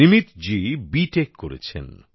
নিমিতজী B Tech করেছেন